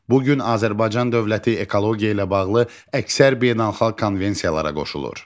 Bu gün Azərbaycan dövləti ekologiya ilə bağlı əksər beynəlxalq konvensiyalara qoşulur.